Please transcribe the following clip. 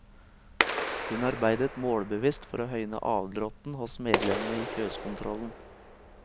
Hun arbeidet målbevisst for å høyne avdråtten hos medlemmene i fjøskontrollen.